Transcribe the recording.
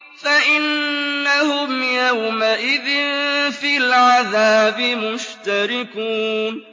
فَإِنَّهُمْ يَوْمَئِذٍ فِي الْعَذَابِ مُشْتَرِكُونَ